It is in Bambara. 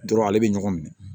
Dɔrɔn ale bɛ ɲɔgɔn minɛ